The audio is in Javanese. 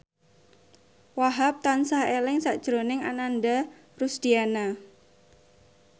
Wahhab tansah eling sakjroning Ananda Rusdiana